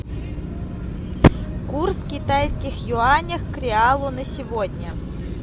курс китайских юаней к реалу на сегодня